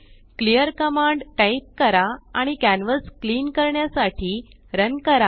clear command type करा आणि canvas clean करण्यासाठी रन करा